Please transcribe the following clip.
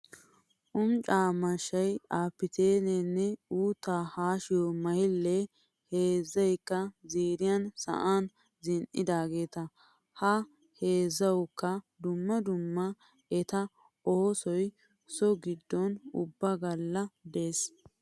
Umcca mashshayi, apitteenne uuttaa haashiyoo mayillee heezzayikka ziiriyan sa'an zin'idaageeta. Ha heezzawuikka dumma dumma eta oossoyi so giddon ubaa galla des.